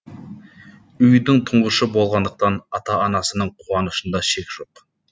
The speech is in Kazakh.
үйдің тұңғышы болғандықтан ата анасының қуанышында шек жоқ